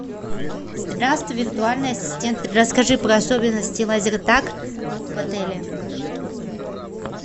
здравствуй виртуальный ассистент расскажи про особенности лазертаг в отеле